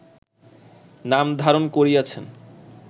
নাম ধারণ করিয়াছেন